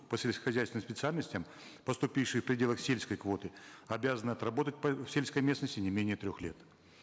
по сельскохозяйственным специальностям поступившие в пределах сельской квоты обязаны отработать по сельской местности не менее трех лет